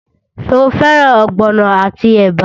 Ṣé o fẹ́ràn ogbono àti ẹ̀bà?